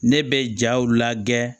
Ne bɛ jaw lagɛ